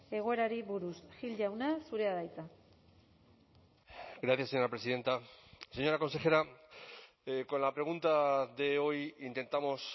egoerari buruz gil jauna zurea da hitza gracias señora presidenta señora consejera con la pregunta de hoy intentamos